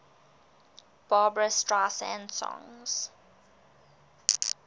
barbra streisand songs